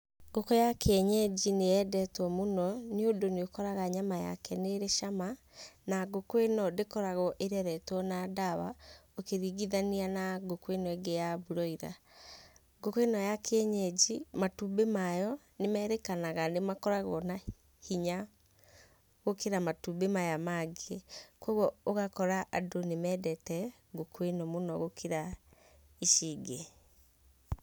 Ngũkũ ya kĩenyeji nĩyendetwo mũno, nĩ ũndũ nĩũkoraga nyama yake nĩrĩ cama, na ngũkũ ĩno ndĩkoragwo ĩreretwo na ndawa, ũkĩringithania na ngũkũ ĩno ĩngĩ ya broiler. Ngũkũ ĩno ya kĩenyeji, matumbĩ mayo nĩ merĩkanaga nĩmakoragwo na hinya gũkĩra matumbĩ maya mangĩ. Koguo ũgakora andũ nĩmendete ngũkũ ĩno mũno gũkĩra ici ingĩ.